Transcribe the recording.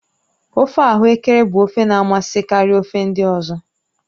ofe ahuekere bụ ofe na amasị karịa ofe ndị ọzọ